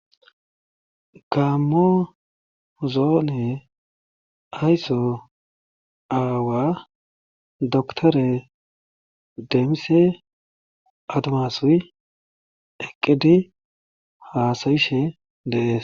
Gaamo zoone ayso aawa dakttere demise adumaasuy eqqidi haasa7ishe de7ee.